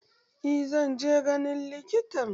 Eh zan je ganin likitan.